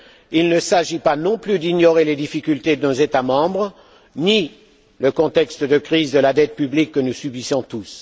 Il ne s'agit pas non plus d'ignorer les difficultés de nos États membres ni le contexte de crise de la dette publique que nous subissons tous.